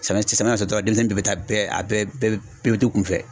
Samiya samiya ma na se dɔrɔn denmisɛnnin bɛ taa bɛɛ a bɛɛ bɛɛ bɛɛ bɛ t'u kunfɛ.